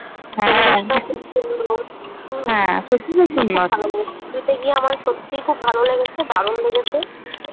হ্যাঁ পুরীতে গিয়ে আমার সত্যিই খুব ভালো লেগেছে দারুন লেগেছে ।